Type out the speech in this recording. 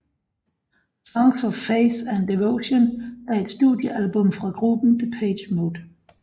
Songs of Faith and Devotion er et studiealbum fra gruppen Depeche Mode